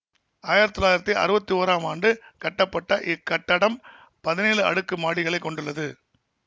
ஆயிரத்தி தொள்ளாயிரத்தி அறுபத்தி ஒறாம் ஆண்டு கட்டப்பட்ட இக்கட்டடம் பதினேழு அடுக்கு மாடிகளை கொண்டுள்ளது